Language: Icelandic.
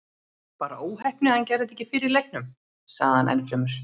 Bara óheppni að hann gerði þetta ekki fyrr í leiknum, sagði hann ennfremur.